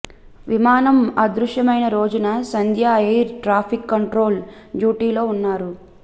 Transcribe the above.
విమానం అదృశ్యమైన రోజున సంధ్య ఎయిర్ ట్రాఫిక్ కంట్రోల్ డ్యూటీలో ఉన్నారు